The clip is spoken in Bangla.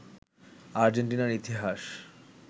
আর্জেন্টিনার ইতিহাস